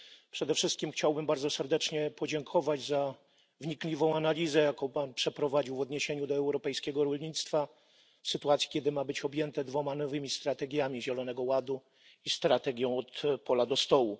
Przede wszystkim chciałbym bardzo serdecznie podziękować za wnikliwą analizę, jaką Pan przeprowadził w odniesieniu do europejskiego rolnictwa w sytuacji, kiedy ma być objęte dwoma nowymi strategiami Zielonego Ładu i strategią od pola do stołu.